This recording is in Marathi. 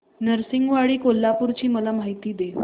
नृसिंहवाडी कोल्हापूर ची मला माहिती दे